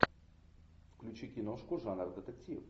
включи киношку жанр детектив